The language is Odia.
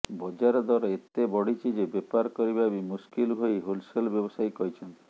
ବଜାର ଦର ଏତେ ବଢିଛି ଯେ ବେପାର କରିବା ବି ମୁସ୍କିଲ ବୋଲି ହୋଲସେଲ୍ ବ୍ୟବସାୟୀ କହିଛନ୍ତି